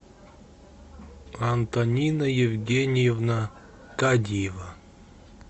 антонина евгеньевна кадиева